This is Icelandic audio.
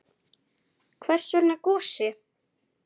Hvers vegna Gosi?